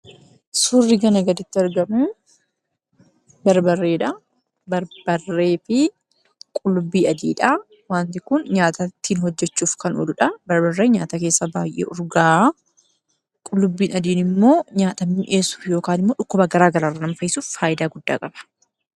Suurri kana gaditti argamu barbarreedha. Barbarree fi qullubbii adiidha. Wanti kun nyaata ittiin hojjachuuf kan ooludha. Barbarreen nyaata keessaa baay'ee urgaawa. Qullubbiin immoo nyaata mi'eessuu fi dhukkuba garaagaraa irraa nama fayyisuuf faayidaa guddaa qaba.